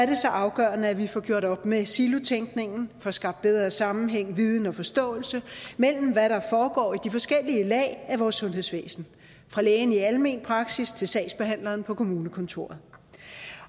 det så afgørende at vi får gjort op med silotænkningen får skabt bedre sammenhæng viden og forståelse mellem hvad der foregår i de forskellige lag af vores sundhedsvæsen fra lægen i almen praksis til sagsbehandleren på kommunekontoret